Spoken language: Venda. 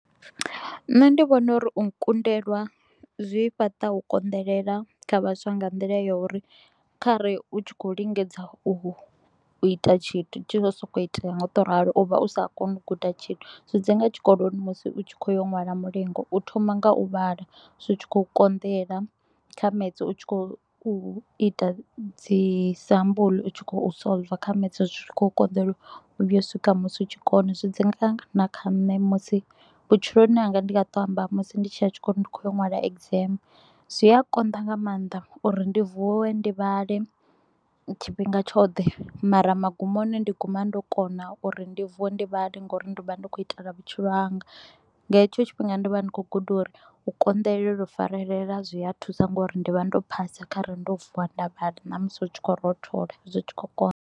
Nṋe ndi vhona u ri u kundelwa zwi fhaṱa u konḓelela kha vhaswa nga nḓila ya u ri khare u tshi kho u lingedza u ita tshithu tshi kho u sokou itea nga u to u ralo, u vha u sa koni u guda tshithu. Zwi dzi nga tshikoloni musi u tshi kho yo ṅwala mulingo, u thoma nga u vhala, zwi tshi kho u konḓela. Kha maths u tshi kho u ita dzi sambulu, u tshi kho u solver, kha maths zwi tshi kho u konḓelwa u vhuya u swika musi u tshi kona. Zwi dzi nga na kha nṋe musi vhutshiloni hanga ndi nga to u amba musi ndi tshi ya tshikoloni ndi kho y ya u ṅwala exam. Zwi a konḓa nga maanḓa uri ndi vuwe ndi vhale tshifhinga tshoṱhe mara magumoni ndi guma ndo kona uri ndi vuwe ndi vhale nga u ri ndi vha ndi kho u itela vhutshilo hanga, nga hetsho tshifhinga ndi vha ndi kho u guda u ri u konḓelela u farelela zwi a thusa nga u ri ndi vha ndo phasa kha re ndo vuwa nda vhaḓa na musi hu tshi kho u rothola zwi tshi kho u konḓa.